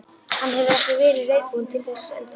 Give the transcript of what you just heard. Hann hefur ekki verið reiðubúinn til þess enn þá.